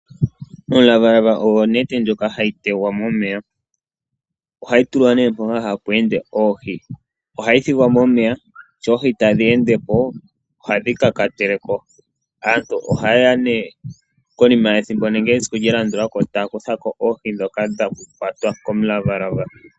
Omulavalava ogwo onete ndyoka ha yi tegwa momeya. Oha yi tulwa mpoka ha pu ende oohi, oha yi thigwa momeya, sho oohi tadhi ende po oha dhi kakatele ko. Aantu oha yeya nee konima yethimbo nenge esiku lya landula ko ee ta ya kuthako oohi dhoka dhakwatwa komulavalava.